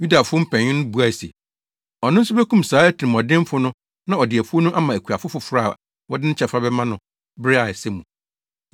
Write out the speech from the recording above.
Yudafo mpanyin no buae se, “Ɔno nso bekum saa atirimɔdenfo no na ɔde afuw no ama akuafo foforo a wɔde ne kyɛfa bɛma no bere a ɛsɛ mu.”